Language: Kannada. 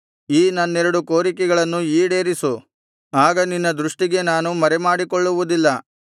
ಈ ನನ್ನೆರಡು ಕೋರಿಕೆಗಳನ್ನು ಈಡೇರಿಸು ಆಗ ನಿನ್ನ ದೃಷ್ಟಿಗೆ ನಾನು ಮರೆಮಾಡಿಕೊಳ್ಳುವುದಿಲ್ಲ